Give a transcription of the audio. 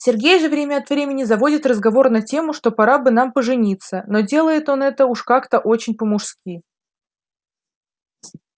сергей же время от времени заводит разговор на тему что пора бы нам пожениться но делает он это уж как-то очень по-мужски